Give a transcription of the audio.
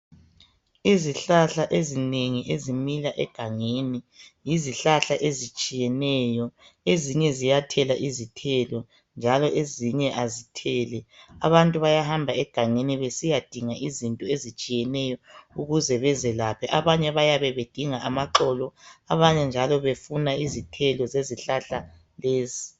izihlahla ezinengi ezimila egangeni yizihlahla ezitshiyeneyo ezinye ziyathela izithelo njalo ezinye azitheli abantu bayahamba egangeni besiyadinga izinto ezitshiyeneyo ukuze bezelaphe abanye bayabe bedinga amaxolo abanye njalo befuna izithelo zezihlahla lezi